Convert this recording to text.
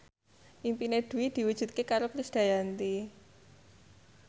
impine Dwi diwujudke karo Krisdayanti